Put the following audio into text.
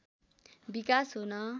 विकास हुन